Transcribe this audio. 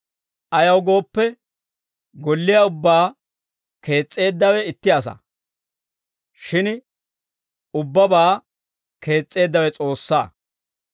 Ayaw gooppe, golliyaa ubbaa kees's'eeddawe itti asaa; shin ubbabaa kees's'eeddawe S'oossaa.